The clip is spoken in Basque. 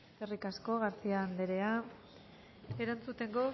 eskerrik asko garcía anderea erantzuteko